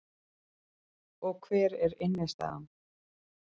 Og hver er innstæðan